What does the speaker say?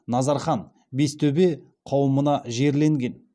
назархан бестөбе қауымына жерленген